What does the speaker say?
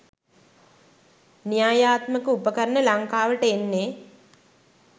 න්‍යායාත්මක උපකරණ ලංකාවට එන්නේ